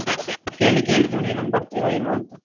ಅದಕ್ಕೆನೆ ಕೇಳಿಕ್ಕೆ ಹೇಳಿದ್ರು. ನೀನೊಂದು ಬರ್ತಿಯಾ ಇಲ್ವಾ ಅಂತ. ಬರ್ಬೋದಾ?